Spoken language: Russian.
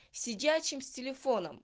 сидячим с телефон